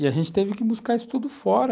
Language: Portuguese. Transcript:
E a gente teve que buscar isso tudo fora.